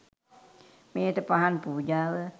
මෙයට පහන් පූජාව